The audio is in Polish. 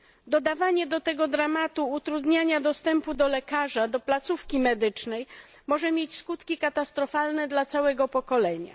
Dodawanie do tego dramatu utrudniania dostępu do lekarza, do placówki medycznej, może mieć skutki katastrofalne dla całego pokolenia.